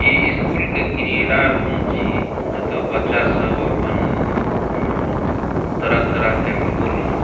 इ स्कूल के क्रीड़ा रूम छीये जेता बच्चा सब अपन उम्म तरह-तरह के फूल--